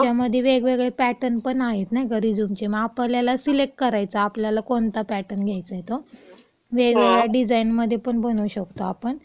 त्याच्यामध्ये वेगवेगळे पॅटर्न पण आहेत नाही का, रिझ्यूमचे..मग आपल्याला सिलेक्ट करायचा आपल्याला कोणता पॅटर्न घ्यायचाय तो.वेगवेगळ्या डिझाईनमध्ये पण बनवू शकतो आपण